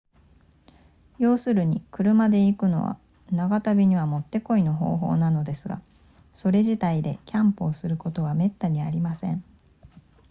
要するに車で行くのは長旅にはもってこいの方法なのですがそれ自体でキャンプをすることはめったにありません